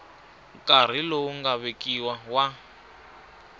nkarhi lowu nga vekiwa wa